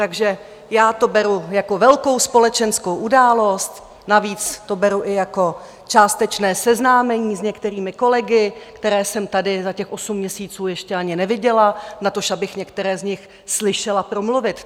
Takže já to beru jako velkou společenskou událost, navíc to beru i jako částečné seznámení s některými kolegy, které jsem tady za těch osm měsíců ještě ani neviděla, natož abych některé z nich slyšela promluvit.